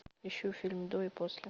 ищу фильм до и после